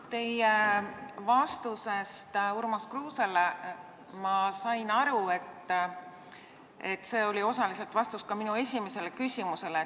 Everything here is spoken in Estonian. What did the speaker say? Teie vastusest Urmas Kruusele ma sain aru, et see oli osaliselt vastus ka minu esimesele küsimusele.